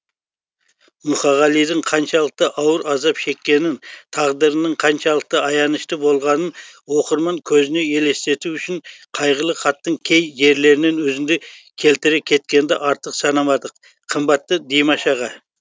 мұқағалидың қаншалықты ауыр азап шеккенін тағдырының қаншалықты аянышты болғанын оқырман көзіне елестету үшін қайғылы хаттың кей жерлерінен үзінді келтіре кеткенді артық санамадық қымбатты димаш аға